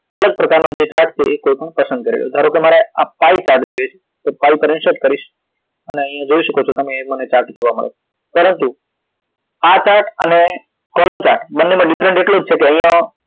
અલગ પ્રકાર નો જે chart છે એ કોઈ પણ પસંદ કરી લ્યો ધારો કે મારે pie chart જોઈએ છે તો ફાઇલ પર insert કરીશ અને અહી જોય શકો છો તમે મને એ chart જોવા મળે છે પરંતુ આ chart અને column chart બંને માં ઘણો different હોય છે